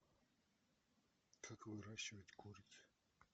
как выращивать куриц